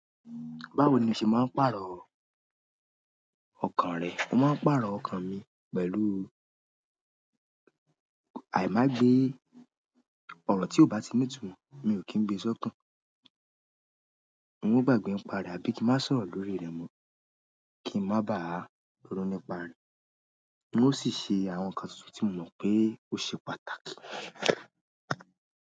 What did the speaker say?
Báwo ni o ṣe máa ń pàrọ̀ ọkàn rẹ? Mo máa ń pàrọ̀ ọkàn mi pẹ̀lú àì-má-gbe. Ọrọ tí ò bá ti nì itumọ, mi ò kí ń gbe sọ́kàn. Mo ma n gbàgbé ń pa re àbí kí n má sọ̀rọ̀ l'órí rẹ̀ mọ́, kí n má bá a dúró nípa rẹ̀. Un o si ṣe àwọn nkan tuntun ti mo mọ pe o se pàtàkì.